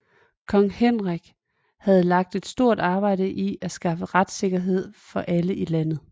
Kong Henrik havde lagt et stort arbejde i at skaffe retssikkerhed for alle i landet